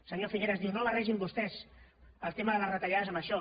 senyor figueras diu no barregin vostès el tema de les retallades amb això